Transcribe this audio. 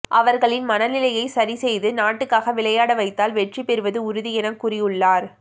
அவர்களின் மனநிலையை சரி செய்து நாட்டுக்காக விளையாட வைத்தால் வெற்றி பெறுவது உறுதி என கூறியுள்ளார்